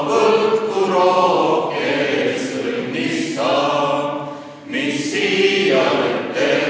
Alustame tänast istungit Eesti Vabariigi hümniga.